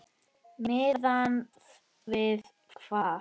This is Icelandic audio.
Miðað við hvað?